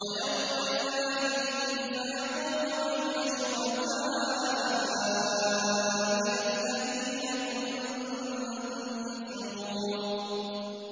وَيَوْمَ يُنَادِيهِمْ فَيَقُولُ أَيْنَ شُرَكَائِيَ الَّذِينَ كُنتُمْ تَزْعُمُونَ